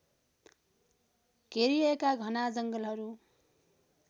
घेरिएका घना जङ्गलहरू